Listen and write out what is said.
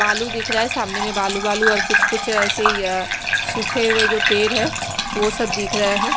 बालू दिख रहा है सामने में बालू बालू और कुछ कुछ ऐसे ही अ सूखे हैजो पेड़ है वो सब दिख रहे है।